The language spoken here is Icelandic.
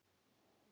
Þessa þarna!